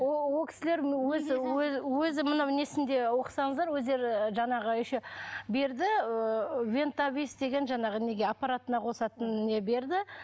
ооо ол кісілердің өзі өзі өзі мынау несінде оқысаңыздар өздері жаңағы еще берді ыыы вентавис деген жаңағы неге аппаратына қосатын не берді